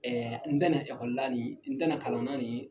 n dɛna ekɔli la nin, n dɛna kalan na nin